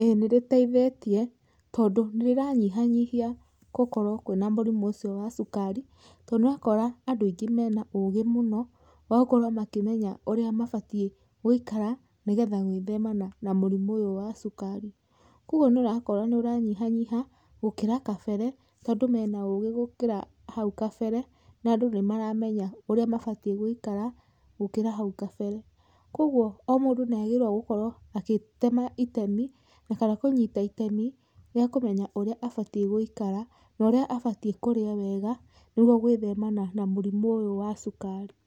Ĩĩ nĩ rĩteithĩtie, tondũ nĩ rĩranyihanyihia gũkorwo kwĩna mũrimũ ũcio wa cukari, tondũ nĩ ũrakora andũ aingĩ me na ũgĩ mũno, wa gũkorwo makĩmenya ũrĩa mabatiĩ gũikara nĩ getha gwĩthema na na mũrimũ ũyũ waa cukari, kwoguo nĩ ũrakora nĩ ũranyiha nyiha, gũkĩra kabere, tondũ me na ũgĩ gũkĩra hau kabere, na andũ nĩ maramenya ũrĩa mabatiĩ gũikara gũkĩra hau kabere, kwoguo o mũndũ nĩ agĩrĩrwo gũkorwo agĩtema itemi, na kana kũnyita itemi rĩa kũmenya ũrĩa abatiĩ gũikara, norĩa abatiĩ kũrĩa wega nĩ gwo gwĩthema na mũrimũ ũyũ wa cukari.